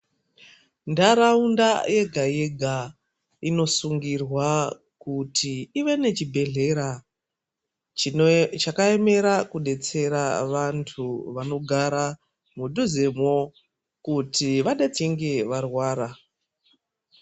Ndaraunda yega yega inosungirwa kuti ive nechibhedhlera chino chakaemera kudetsera vantu vanogara mudhuzemwo kuti vadetsinge varwara .